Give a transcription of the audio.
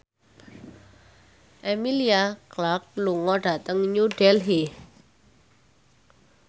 Emilia Clarke lunga dhateng New Delhi